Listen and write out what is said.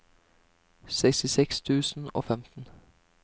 sekstiseks tusen og femten